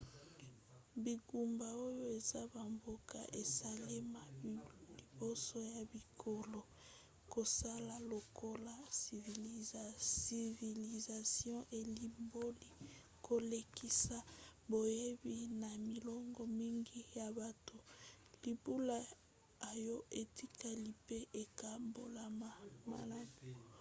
bingumba oyo eza bamboka esalema liboso ya bikolo. kosala lokola civilisation elimboli kolekisa boyebi na milongo mingi ya bato libula oyo etikali mpe ekabolama malamu